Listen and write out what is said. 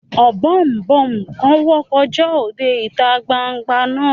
Ọ̀bọ̀ọ̀nbọọ̀n kan wọ́ kọjá òde ìta gbangba náà